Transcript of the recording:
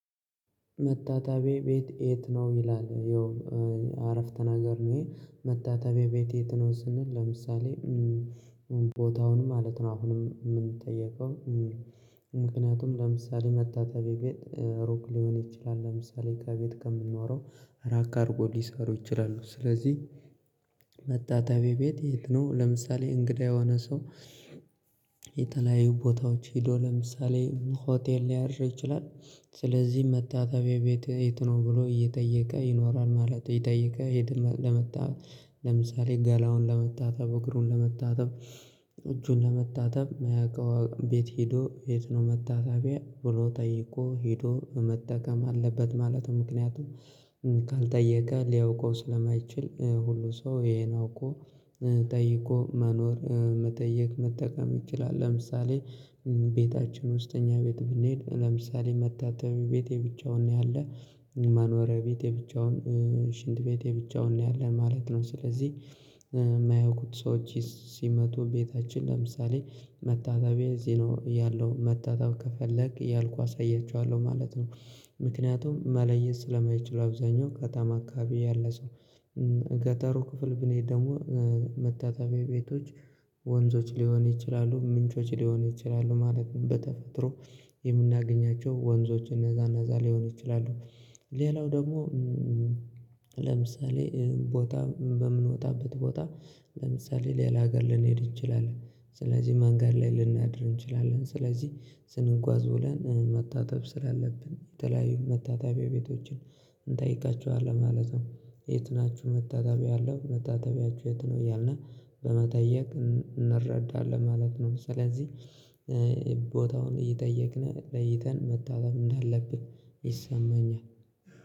መታጠቢያ ቤት የት? ነው ይላል ያው አረፍተ ነገር ነው። ይሄ መታጠቢያ ቤት የት ነው ስንል። ለምሳሌ ቦታውን ማለት ነው አሁንም የምንጠየቀው። ምክንያቱም ለምሳሌ መታጠቢያ ቤት ሩቅ ሊሆን ይችላል። ለምሳሌ ከቤት ከምኖራው ራቅ አድርጎ ሊሰሩ ይችላሉ። ስለዚህ መታጠቢያ ቤት የት ነው? ለምሳሌ እንግዳ የሆነ ሰው ቦታዎች ሄዶ ለምሳሌ ሆቴል ሊያድር ይችላል። ስለዚህ መታጠቢያ ቤት የት ነው ብሎ እየጠየቀ ይኖራል ማለት እየጠየቀ ይሌድ። እና ለመታ ለምሳሌ ጋላውን ለመታጠብ እግሩን ለመታጠብ እጁን ለመታጠብ መያቀው ቤት ሄዶ የት ነው መታጠቢያ ብሎ ጠይቆ ሄዶ መጠቀም አለበት። ማለትም ምክንያቱም ካልጠየቀ ሊያውቀው ስለማይችል ሁሉ ሰው ይሄን አውቆ ጠይቆ መኖር መጠየቅ መጠቀም ይችላል። ለምሳሌ ቤታችን ውስጠኛ ቤት ብንሄድ ለምሳሌ መታጠቢያ ቤት የብቻውን ነው ያለ መኖሪያ ቤቴ የብቻውን ሽንት ቤቴ የብቻውን ነው ያለ ማለት ነው። ስለዚህ የማያውቁት ሰዎች ሲመጡ ቤታችን ለምሳሌ መታታቢያ እዚህ ነው ያለው መታጠብ ከፈለክ ያልኩ አሳያችኋለሁ ማለት ነው። ምክንያቱም መለየት ስለማይችሉ አብዛኛው ከተማ አካባቢ ያለ ሰው። ገጠሩ ክፍል ብንሄድ ደግሞ መታጠቢያ ቤቶች ወንዞች ሊሆን ይችላሉ ምንጮች ሊሆን ይችላሉ ማለት ነው። በተፈጥሮ የምናገኛቸው ወንዞች እነዛናዛ ሊሆን ይችላሉ። ሌላው ደግሞ ለምሳሌ ቦታ በምንወጣበት ቦታ ለምሳሌ ሌላ ሀገር ልንሄድ እንችላለን ስለዚህ ማን ጋር ላይ ልናድር እንችላለን። ስለዚህ ስንጓዝ ብለን መታጠብ ስላለብን የተለያዩ መታጠያ ቤቶችን እንጠይቃቸዋለን ማለት ነው። የት ናችሁ መታጠቢያ አለው መታጠቢያችሁ የት ነው? እያልነ በመጠየቅ እንረዳለን ማለት ነው። ስለዚህ ቦታውን እየጠየቅን ለይተን መታጠብ እንዳለብን ይሰማኛል